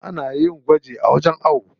Ana yin gwaji a wajen ayo.